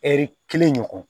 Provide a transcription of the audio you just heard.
Ɛri kelen ɲɔgɔn